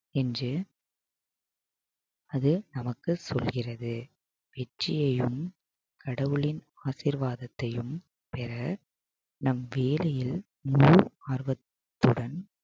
என்று அது நமக்கு சொல்கிறது வெற்றியையும் கடவுளின் ஆசீர்வாதத்தையும் பெற நம் வேலையில் முழு ஆர்வத்துடன்